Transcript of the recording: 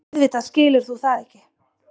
Auðvitað skilur þú það ekki.